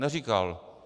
Neříkal.